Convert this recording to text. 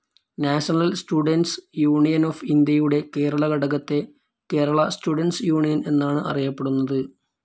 National students union of ഇന്ത്യയുടെ കേരള ഘടകത്തെ Kerala students union എന്നാണ് അറിയപ്പെടുന്നത്.